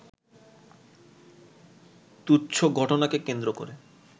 তুচ্ছ ঘটনাকে কেন্দ্র করে